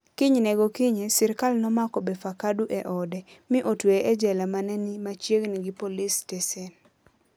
Kinyne gokinyi, sirkal nomako Befeqadu e ode, mi otweye e jela ma ne ni machiegni gi polis stesen.